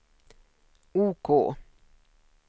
OK